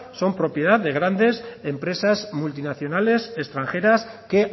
son propiedad de grandes empresas multinacionales extranjeras que